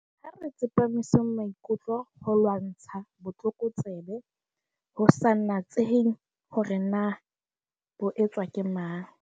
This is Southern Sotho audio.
Ha re tsepamiseng maikutlo ho ho lwantsha botlokotsebe, ho sa natsehe hore na bo etswa ke mang.